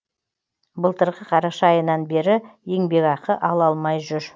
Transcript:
былтырғы қараша айынан бері еңбекақы ала алмай жүр